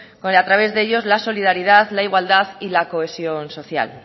a través de ellos la solidaridad la igualdad y la cohesión social